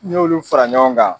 Ni y'olu fara ɲɔgɔn kan